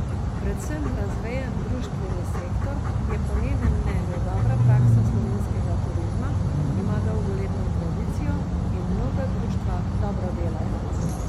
Predvsem razvejen društveni sektor je po njenem mnenju dobra praksa slovenskega turizma, ima dolgoletno tradicijo in mnoga društva dobro delajo.